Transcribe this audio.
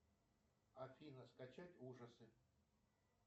афина скачать ужасы